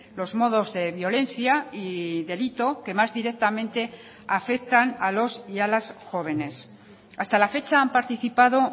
los modos de violencia y delito que más directamente afectan a los y a las jóvenes hasta la fecha han participado